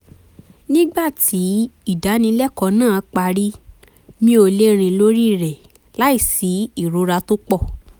nígbà tí ìdánilẹ́kọ̀ọ́ náà parí mi ò lè rìn lórí rẹ̀ láìsí ìrora tó pọ̀